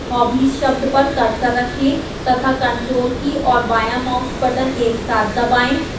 hobbies शब्द पर cursor रखें तथा ctrl की और बायां माउस बटन एक साथ दबाएं